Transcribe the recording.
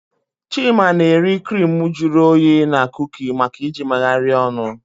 Chima na-eri crimu juru oyi na kuki maka iji megharịa ọnụ.